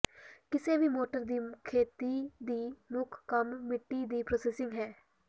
ਕਿਸੇ ਵੀ ਮੋਟਰ ਦੀ ਖੇਤੀ ਦੀ ਮੁੱਖ ਕੰਮ ਮਿੱਟੀ ਦੀ ਪ੍ਰੋਸੈਸਿੰਗ ਹੈ